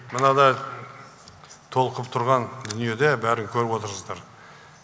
мынадай толқып тұрған дүниеде бәрін көріп отырсыздар